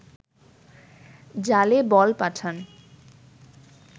জালে বল পাঠান